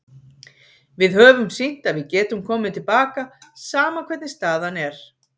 Við höfum sýnt að við getum komið til baka, sama hvernig staðan er.